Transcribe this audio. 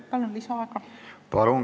Palun!